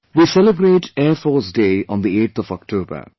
We celebrate Air Force Day on the 8th of October